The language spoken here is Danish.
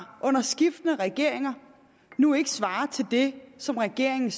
under skiftende regeringer nu ikke svarer til det som regeringen